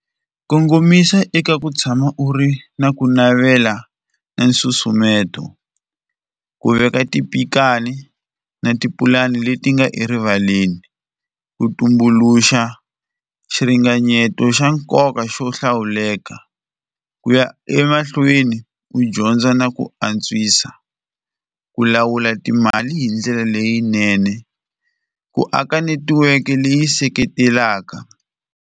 Kongomisa eka ku tshama u ri na ku navela na nsusumeto, ku veka tipikani na tipulani leti nga erivaleni, ku tumbuluxa xiringanyeto xa nkoka xo hlawuleka, ku ya emahlweni u dyondza na ku antswisa, ku lawula timali hi ndlela leyinene, ku aka netiweke leyi seketelaka.